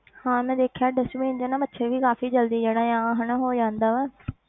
ਹਾਂ ਮੈਂ ਦੇਖਿਆ dustbin 'ਚ ਨਾ ਮੱਛਰ ਵੀ ਕਾਫ਼ੀ ਜ਼ਲਦੀ ਜਿਹੜਾ ਆ ਹਨਾ ਹੋ ਜਾਂਦਾ ਵਾ